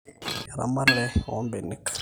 eramatare oombenek